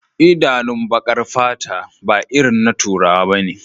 Idanun bakar fata ba irin na turawa bane